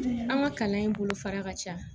An ka kalan in bolo fara ka ca